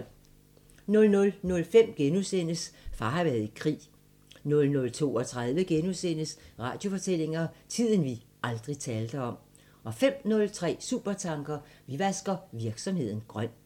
00:05: Far har været i krig * 00:32: Radiofortællinger: Tiden vi aldrig talte om * 05:03: Supertanker: Vi vasker virksomheden grøn